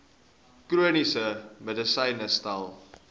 chroniese medisyne tel